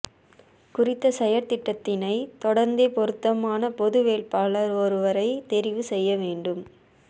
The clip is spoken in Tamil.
குறித்த செயற்றிட்டத்தினை தொடர்ந்தே பொருத்தமான பொது வேட்பாளர் ஒருவரை தெரிவு செய்ய வேண்டும்